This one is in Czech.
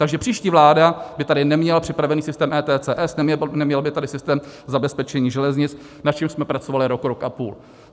Takže příští vláda by tady neměla připravený systém ETCS, neměla by tady systém zabezpečení železnic, na čemž jsme pracovali rok, rok a půl.